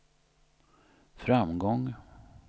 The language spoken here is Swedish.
framgång